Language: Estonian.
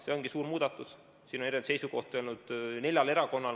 See ongi suur muudatus, siin on erinevaid seisukohti olnud neljal erakonnal.